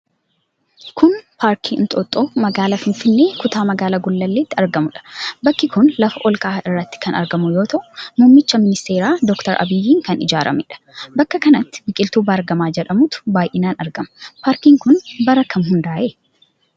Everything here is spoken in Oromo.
Kun, paarkii Inxooxxoo magaalaa finfinnee, kutaa magaalaa Gullalleetti argamuu dha. Bakki kun, lafa ol ka'aa irratti kan argamu yoo ta'u, muummicha ministeeraa Doktar Abiyyiin kan ijaarameedha. Bakka kanatti, biqiltuu baargama jedhamutu baay'inaan argama. Paarkiin kun, bara kam hundaa'e?